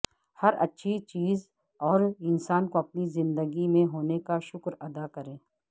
ہر اچھی چیز اور انسان کا اپنی زندگی میں ہونے کا شکر ادا کریں